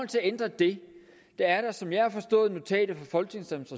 til at ændre det er der som jeg har forstået notatet fra folketingets